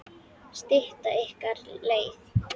Stytta ykkur leið!